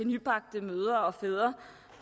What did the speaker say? nybagte mødre og fædre